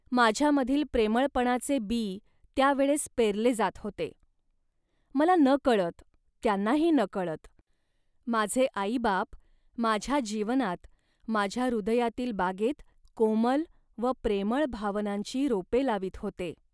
माझ्यामधील प्रेमळपणाचे बी त्या वेळेस पेरले जात होते. मला नकळत, त्यांनाही नकळत, माझे आईबाप माझ्या जीवनात माझ्या हृदयातील बागेत कोमल व प्रेमळ भावनांची रोपे लावीत होते